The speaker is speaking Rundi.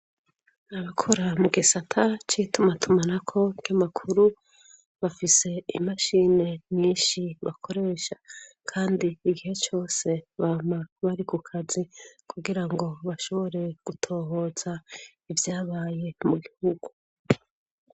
Abakora mu gisata cituma tumana ko nkamakuru bafise imashini nyinshi bakoresha kandi igihe cyose bama bari ku kazi kugira ngo bashobore gutohoza ivyabaye mu gihugu.